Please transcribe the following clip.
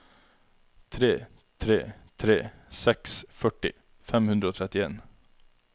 tre tre tre seks førti fem hundre og trettien